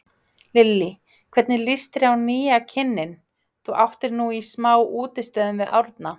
Lillý: Hvernig lýst þér á nýja kynninn, þú áttir nú í smá útistöðum við Árna?